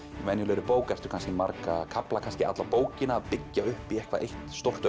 venjulegri bók ertu kannski marga kafla kannski alla bókina að byggja upp í eitthvað eitt stórt